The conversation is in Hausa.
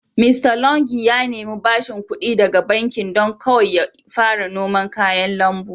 Mista longi ya nemi bashing ƙudi daga bankin don kawai ya fara noman kayan lambu.